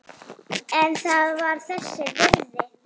En það var þess virði.